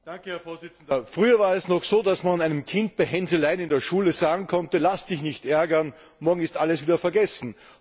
Herr Präsident! Früher war es noch so, dass man einem Kind bei Hänseleien in der Schule sagen konnte Lass dich nicht ärgern, morgen ist alles wieder vergessen.